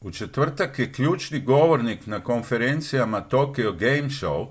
u četvrtak je ključni govornik na konferencijama tokyo game show